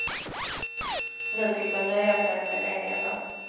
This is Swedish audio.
Nu fick de nöja sig med en enda.